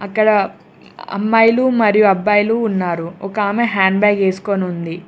ఇక్కడ అమ్మాయిలు మరియు అబ్బాయిలు ఉన్నారు ఒక ఆమె హ్యాండ్ బ్యాగ్ ఎస్కోనుంది.